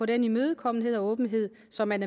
den imødekommenhed og åbenhed som man